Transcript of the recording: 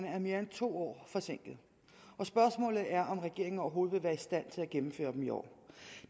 er mere end to år forsinket og spørgsmålet er om regeringen overhovedet vil være i stand til at gennemføre dem i år